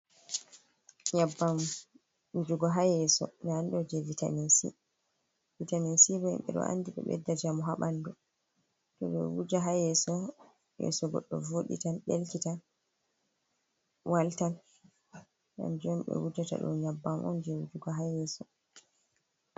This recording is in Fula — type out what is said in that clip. Nyebbam wujugo ha yeeso nda ɗum ɗo jei vitaminsi bo himɓe ɗo andi ɗo ɓedda jamu ha ɓandu, to ɗo wuja ha yeeso goɗɗo voɗitan, ɗelki tan waltan kanju ɓe wujata ɗum nyabbam on jei wujugo ha yeeso.